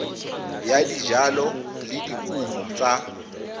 ya dijalo le dikumo tsa